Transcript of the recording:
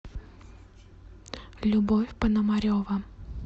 любовь пономарева